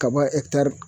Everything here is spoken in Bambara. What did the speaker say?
Kaba etatu